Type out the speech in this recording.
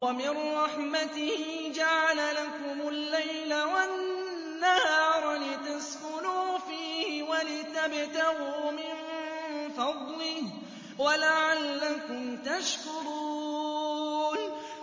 وَمِن رَّحْمَتِهِ جَعَلَ لَكُمُ اللَّيْلَ وَالنَّهَارَ لِتَسْكُنُوا فِيهِ وَلِتَبْتَغُوا مِن فَضْلِهِ وَلَعَلَّكُمْ تَشْكُرُونَ